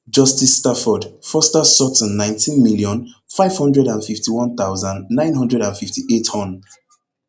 justice stafford foster sutton nineteen million, five hundred and fifty-one thousand, nine hundred and fifty-eight hon